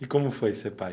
E como foi ser pai?